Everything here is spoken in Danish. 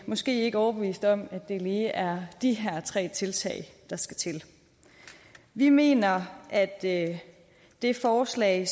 måske ikke overbevist om at det lige er de her tre tiltag der skal til vi mener at at det forslag